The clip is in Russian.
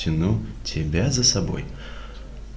тяну тебя за собой